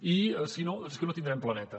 i si no és que no tindrem planeta